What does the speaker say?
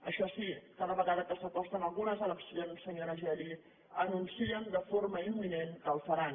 això sí cada vegada que s’acosten algunes eleccions senyora geli anuncien de forma imminent que el faran